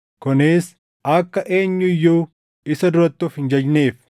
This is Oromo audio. kunis akka eenyu iyyuu isa duratti of hin jajneef.